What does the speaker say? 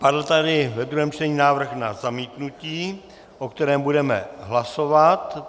Padl tady ve druhém čtení návrh na zamítnutí, o kterém budeme hlasovat.